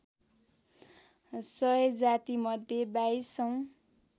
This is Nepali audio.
सय जातिमध्ये बाइसौँ